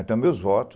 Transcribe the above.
Então, meus voto,